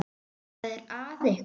Hvað er að ykkur?